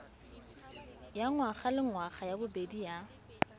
ya ngwagalengwaga ya bobedi ya